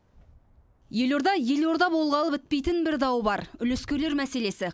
елорда елорда болғалы бітпейтін бір дау бар үлескерлер мәселесі